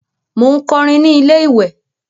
Mò ń kọrin ní ilé-ìwè